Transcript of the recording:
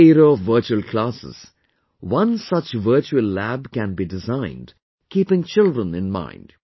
In this era of virtual classes, one such virtual lab can be designed keeping children in mind